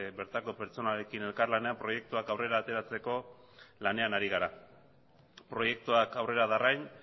bertako pertsonarekin elkarlanean proiektua aurrera ateratzeko lanean ari gara proiektuak aurrera darrain